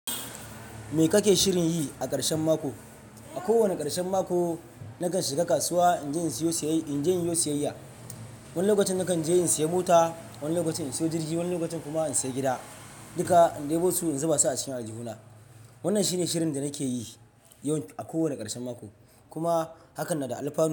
Me kake shirin yi a karshen mako? A kowane karshen mako nakan shiga kasuwa inje inyo siyayya. Wani lokacin nakan je in siya mota, wani lokacin in siyo jirgi, wani lokacin kuma in siya gida. Duka in deɓo su in zuba su a cikin aljihuna. Wannan shine shirin da nake yi a kowane karshen mako, kuma hakan na da anfani.